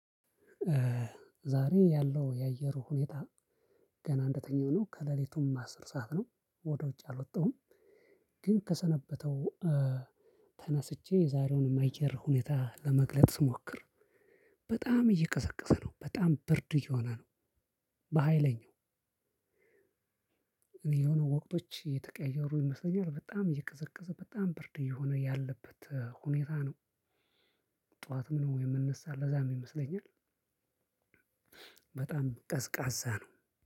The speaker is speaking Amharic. ዛሬ ያለው የአየሩ ሁኔታ ገና እንደተኛው ነው ከሌሊቱም አስር ሰዓት ነው ወደ ውጭ አልወጣሁም። ግን ከሰነበተው ተነስቼ የዛሬውንም የአየር ሁኔታ ለመግለጽ ስሞክር በጣም እየቀሰቀሰ ነው በጣም ብርድ እየሆነ ነው። በሃይለኛው የሆነ ወቅቶች እየተቀየሩ ይመስለኛል በጣም እየቀዘቀዘ በጣም ብርድ እየሆነ ያለበት ሁኔታ ነው። ጠዋትም ነው የምንነሳው ለዛም ይመስለኛል። በጣም ቀዝቃዛ ነው።